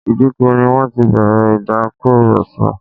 Ìdíkọ̀ ni wọ́n ti bẹ̀rẹ̀ ìtàkurọsọ̀